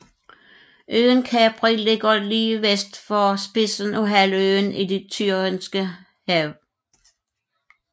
Øen Capri ligger lige vest for spidsen af halvøen i Det Tyrrhenske Hav